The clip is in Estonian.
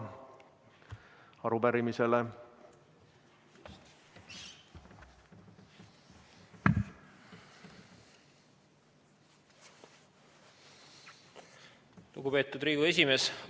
Lugupeetud Riigikogu esimees!